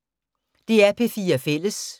DR P4 Fælles